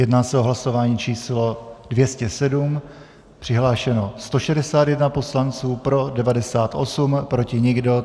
Jedná se o hlasování číslo 207, přihlášeno 161 poslanců, pro 98, proti nikdo.